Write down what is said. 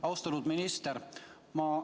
Austatud minister!